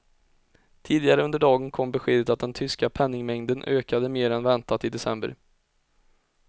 Tidigare under dagen kom beskedet att den tyska penningmängden ökade mer än väntat i december.